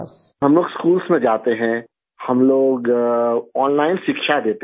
हम लोग स्कूल्स में जाते हैं हम लोग ओनलाइन शिक्षा देते हैं